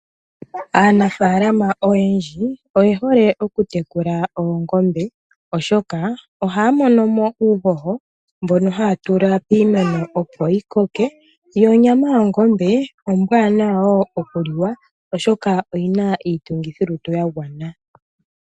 Aanafalama oyendji oye hole oku teķula oongombe oshoka ohaya mono ko uuhoho mbono haya tula piimeno, opo yi koke. Onyama yongombe ombwaanawa wo oshoka oyina iitungithilutu ya gwana.